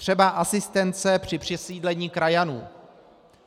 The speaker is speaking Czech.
Třeba asistence při přesídlení krajanů.